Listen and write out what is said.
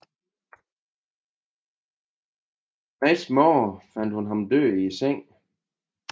Næste morgen fandt hun ham død i sengen